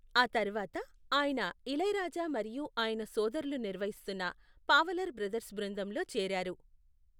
ఆ తర్వాత, ఆయన ఇళయరాజా మరియు ఆయన సోదరులు నిర్వహిస్తున్న పావలర్ బ్రదర్స్ బృందంలో చేరారు.